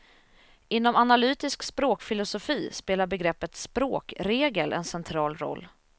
Inom analytisk språkfilosofi spelar begreppet språkregel en central roll.